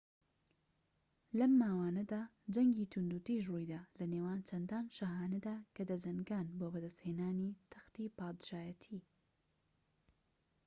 لەم ماوانەدا جەنگی توندوتیژ ڕوویدا لە نێوان چەندان شاهانەدا کە دەجەنگان بۆ بەدەستهێنانی تەختی پادشایەتی